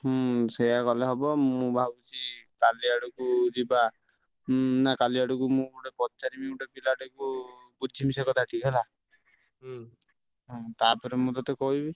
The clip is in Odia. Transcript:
ହୁଁ ସେଇୟା କଲେ ହବ ମୁଁ ଭାବୁଛି କାଲି ଆଡକୁ ଯିବା ହୁଁ ନା କାଲି ଆଡକୁ ମୁଁ ଗୁଟେ ପଚାରିବି ଗୁଟେ ପିଲା ଟା କୁ ବୁଝିମି ସେ କଥା ଟିକେ ହେଲା ହୁଁ ତାପରେ ମୁଁ ତୋତେ କହିବି।